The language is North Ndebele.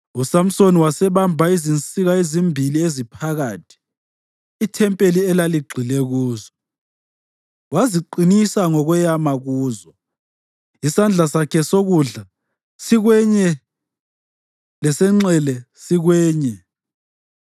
USamsoni wasebamba izinsika ezimbili eziphakathi, ithempeli elaligxile kuzo. Waziqinisa ngokweyama kuzo, isandla sakhe sokudla sikwenye lesenxele sikwenye,